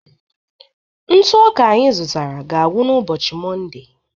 Ntụ ọka anyị zụtara ga-agwụ n'ụbọchị Mọnde